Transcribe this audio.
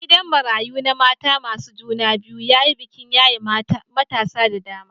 Gidan marayun na mata masu juna biyu ya yi bikin yaye matasa da dama